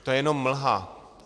To je jenom mlha.